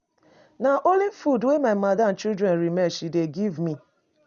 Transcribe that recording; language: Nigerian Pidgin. Na only food wey my madam children remain she dey give me.